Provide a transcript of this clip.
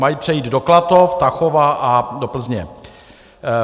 Mají přejít do Klatov, Tachova a do Plzně.